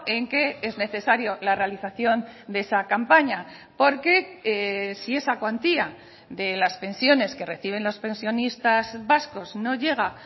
en que es necesario la realización de esa campaña porque si esa cuantía de las pensiones que reciben los pensionistas vascos no llega